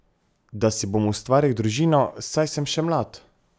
Da si bom ustvaril družino, saj sem še mlad.